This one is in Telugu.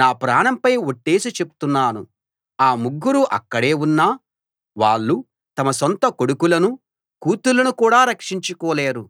నా ప్రాణంపై ఒట్టేసి చెప్తున్నాను ఆ ముగ్గురూ అక్కడే ఉన్నా వాళ్ళు తమ సొంత కొడుకులను కూతుళ్ళను కూడా రక్షించుకోలేరు